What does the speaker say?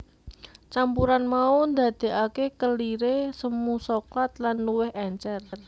Campuran mau ndadékake keliré semu soklat lan luwih èncèr